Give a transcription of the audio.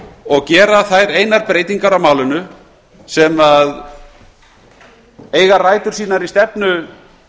og gera þær einar breytingar á málinu sem eiga rætur sínar í stefnu